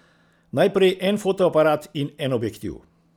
Najprej en fotoaparat in en objektiv.